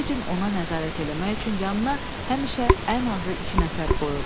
Fecin ona nəzarət eləmək üçün yanına həmişə ən azı iki nəfər qoyurdu.